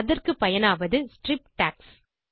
அதற்கு பயனாவது strip tax